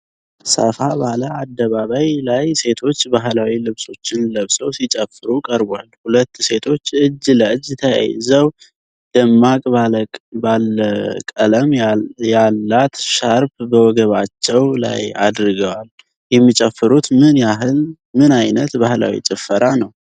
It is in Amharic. ሰፋ ባለ አደባባይ ላይ ሴቶች ባህላዊ ልብሶችን ለብሰው ሲጨፍሩ ቀርቧል። ሁለት ሴቶች እጅ ለእጅ ተያይዘው ደማቅ ባለ ቀለም ያላት ሻርፕ በወገባቸው ላይ አድርገዋል። የሚጨፍሩት ምን አይነት ባህላዊ ጭፈራ ነው?